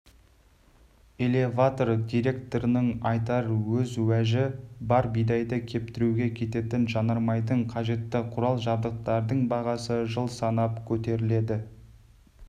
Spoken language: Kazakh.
элеватор директорының айтар өз уәжі бар бидайды кептіруге кететін жанармайдың қажетті құрал-жабдықтардың бағасы жыл санап көтеріледі